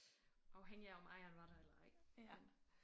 Afhængig af om ejeren var der eller ej men